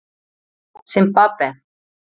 Simbabve